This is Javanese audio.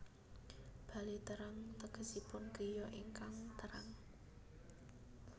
Bale Terang tegesipun griya ingkang terang